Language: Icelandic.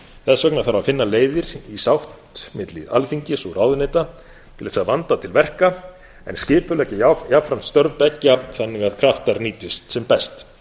þess vegna þarf að finna leiðir í sátt milli alþingis og ráðuneyta til þess að vanda til verka en skipuleggja jafnframt störf beggja þannig að kraftar nýtist sem best